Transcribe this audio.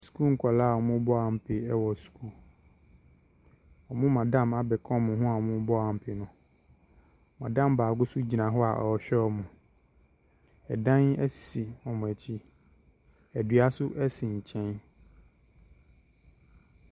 Sukuu nkwadaa a wɔmu bɔ ampe wc sukuu wɔn madam nso abeka wɔn hoa ampe madam bakɔ gina hɔ ɔhwe ɛdan se wɔn akyi dua si wɔn nkyɛn.